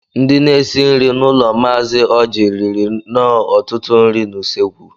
Ndị na-esi nri n'ụlọ Mazi Ọji riri nnọọ ọtụtụ ihe n'ụsọ ekwụ